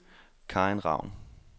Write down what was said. Karin Ravn